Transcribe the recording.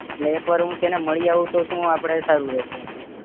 એટલે એક વાર હું તેને મળી આવું તો આપડે સારું રેશે એમ